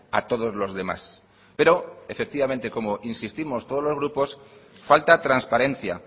a todos los demás pero efectivamente como insistimos todos los grupos falta transparencia